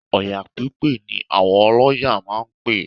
Ọya pípè ni àwọn ọlọ́ya máa ń pè